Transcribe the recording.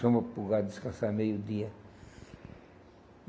Soma para o lugar descansar meio-dia.